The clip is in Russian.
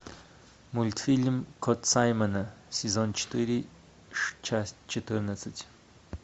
мультфильм кот саймона сезон четыре часть четырнадцать